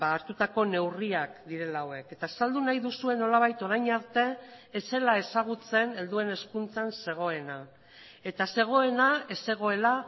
hartutako neurriak direla hauek eta azaldu nahi duzue nolabait orain arte ez zela ezagutzen helduen hezkuntzan zegoena eta zegoena ez zegoela